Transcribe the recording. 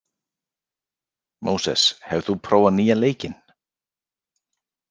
Móses, hefur þú prófað nýja leikinn?